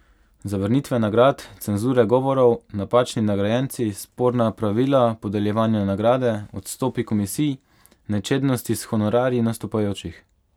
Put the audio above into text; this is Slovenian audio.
Zavrnitve nagrad, cenzure govorov, napačni nagrajenci, sporna pravila podeljevanja nagrade, odstopi komisij, nečednosti s honorarji nastopajočih ...